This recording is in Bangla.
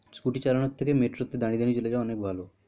Scooty চালানোর থেকে Metro তে দাঁড়িয়ে দাঁড়িয়ে চলে যাওয়া অনেক ভালো।